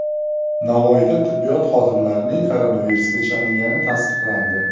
Navoiyda tibbiyot xodimlarining koronavirusga chalingani tasdiqlandi.